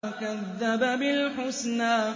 وَكَذَّبَ بِالْحُسْنَىٰ